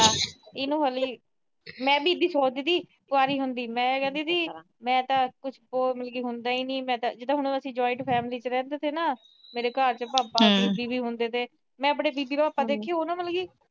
ਮੈਂ ਵੀ ਇਦਾ ਸੋਚਦੀ ਸੀ ਕੁਆਰੀ ਹੁੰਦੀ। ਮੈਂ ਕਹਿੰਦੀ ਸੀ, ਮੈਂ ਤਾਂ ਕੁਛ ਜਿਦਾਂ ਅਸੀਂ ਜੁਆਇੰਟ ਫੈਮਲੀ ਚ ਰਹਿੰਦੇ ਤਾਂ ਨਾ, ਮੇਰੇ ਘਰ ਭਾਪਾ ਜੀ ਵੀ ਹੁੰਦੇ ਤੇ, ਮੈਂ ਆਪਣੀ ਬੀਬੀ ਨਾਲ ਕਦੇ, ਉਹ ਨਾ ਦੇਖੀ ਮੈਨੂੰ ਕਦੀ